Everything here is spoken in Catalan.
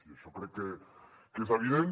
i això crec que és evident